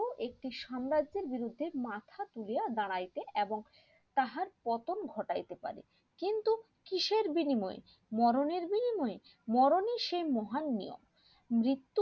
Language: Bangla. একটি সাম্রাজ্যের বিরুদ্ধে মাথা তুলে দাঁড়াইতে এবং তাহার পতন ঘটাইতে পারে কিন্তু কিসের বিনিময় মরণ এর বিনিময় মরণ এ সে মহানিয় মৃত্যু